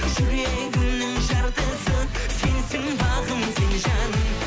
жүрегімнің жартысы сенсің бағым сен жаным